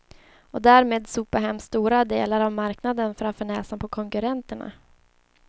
Och därmed sopa hem stora delar av marknaden framför näsan på konkurrenterna.